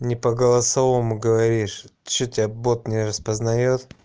не по голосовому говоришь что тебя бот не распознаёт